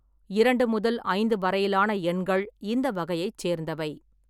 இரண்டு முதல் ஐந்து வரையிலான எண்கள் இந்த வகையை சேர்ந்தவை.